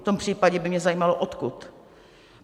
V tom případě by mě zajímalo, odkud.